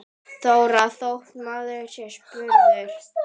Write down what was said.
Þóra: Þótt maður sé spurður?